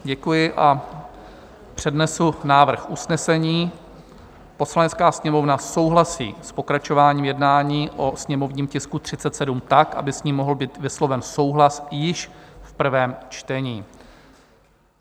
Děkuji a přednesu návrh usnesení: "Poslanecká sněmovna souhlasí s pokračováním jednání o sněmovním tisku 37 tak, aby s ním mohl být vysloven souhlas již v prvém čtení."